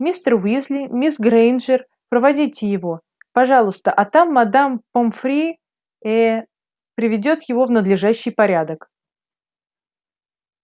мистер уизли мисс грэйнджер проводите его пожалуйста а там мадам помфри э приведёт его в надлежащий порядок